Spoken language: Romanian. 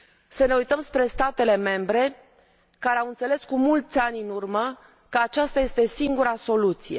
Să ne uităm spre statele membre care au înțeles, cu mulți ani în urmă, că aceasta este singura soluție.